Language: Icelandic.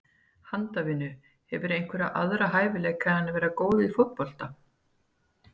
Handavinnu Hefurðu einhverja aðra hæfileika en að vera góð í fótbolta?